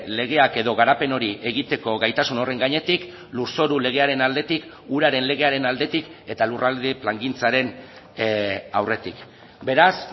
legeak edo garapen hori egiteko gaitasun horren gainetik lurzoru legearen aldetik uraren legearen aldetik eta lurralde plangintzaren aurretik beraz